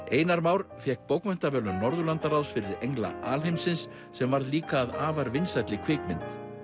einar Már fékk bókmenntaverðlaun Norðurlandaráðs fyrir engla alheimsins sem varð líka að afar vinsælli kvikmynd